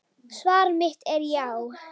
Svar mitt er já.